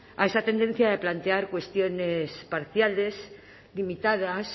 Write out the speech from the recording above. a esa tendencia de plantear cuestiones parciales limitadas